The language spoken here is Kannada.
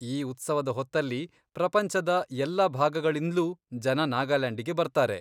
ಈ ಉತ್ಸವದ ಹೊತ್ತಲ್ಲಿ ಪ್ರಪಂಚದ ಎಲ್ಲ ಭಾಗಗಳಿಂದ್ಲೂ ಜನ ನಾಗಾಲ್ಯಾಂಡಿಗೆ ಬರ್ತಾರೆ.